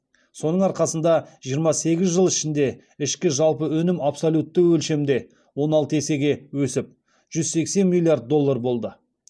соның арқасында жиырма сегіз жыл ішінде ішкі жалпы өнім абсолютті өлшемде он алты есеге өсіп жүз сексен миллиард доллар болды